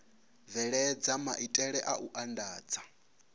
bveledza maitele a u andadza